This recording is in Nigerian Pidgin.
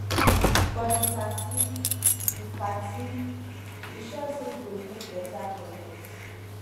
for di party e party e sure say yu go mek beta connect